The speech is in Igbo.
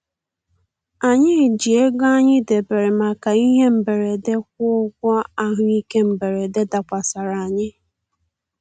Anyị ji ego anyị debere maka ihe mberede kwụọ ụgwọ ahụ ike mberede dakwasara anyị